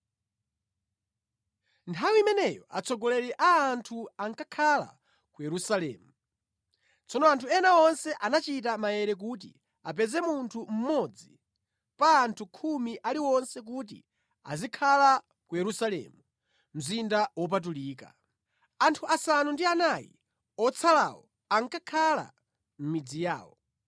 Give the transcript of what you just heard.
Nthawi imeneyo atsogoleri a anthu ankakhala ku Yerusalemu. Tsono anthu ena onse anachita maere kuti apeze munthu mmodzi pa anthu khumi aliwonse kuti azikhala ku Yerusalemu, mzinda wopatulika. Anthu asanu ndi anayi otsalawo ankakhala mʼmidzi yawo.